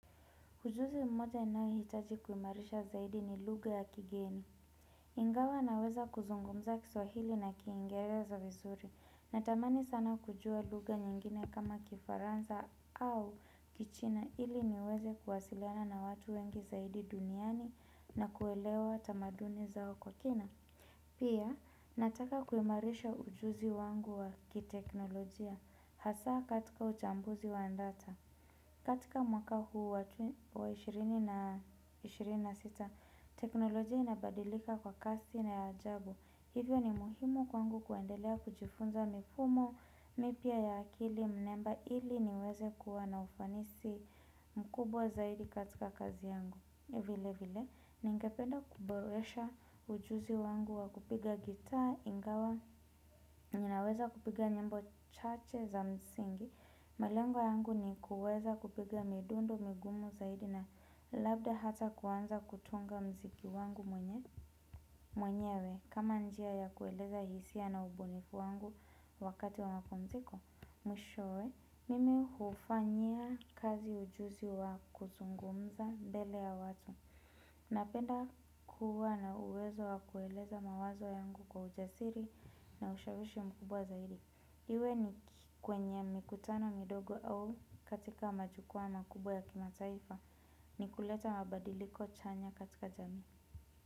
Ujuzi mmoja nahitaji kuimarisha zaidi ni lugha ya kigeni. Ingawa naweza kuzungumza kiswahili na kiingereza vizuri. Natamani sana kujua lugha nyingine kama kifaranza au kichina ili niweze kuwasiliana na watu wengi zaidi duniani na kuelewa tamaduni zao kwa kina. Pia nataka kuimarisha ujuzi wangu wa kiteknolojia hasa katika utambuzi wa data. Katika mwaka huu wa 20 na 26, teknolojia inabadilika kwa kasi na ajabu. Hivyo ni muhimu kwangu kuendelea kujifunza mifumo, mipya ya akili, mnemba ili niweze kuwa na ufanisi mkubwa zaidi katika kazi yangu. Vile vile, ningependa kuboresha ujuzi wangu wa kupiga gitaa ingawa, ninaweza kupiga nyimbo chache za msingi, malengo yangu ni kuweza kupiga midundu, migumu zaidi na labda hata kuanza kutunga mziki wangu mwenyewe. Kama njia ya kueleza hisia na ubunifu wangu wakati wa mapumziko, mwishow, mimi hufanyia kazi ujuzi wa kuzungumza mbele ya watu. Napenda kuwa na uwezo wa kueleza mawazo yangu kwa ujasiri na ushawishi mkubwa zaidi. Iwe ni kwenye mikutano midogo au katika majukwaa makubwa ya kimataifa ni kuleta mabadiliko chanya katika jamii.